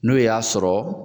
N'o y'a sɔrɔ,